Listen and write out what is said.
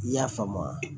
I y'a faamu